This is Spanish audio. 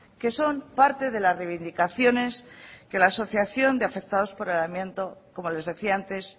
que son parte de las reivindicaciones que la asociación de afectados por el amianto como les decía antes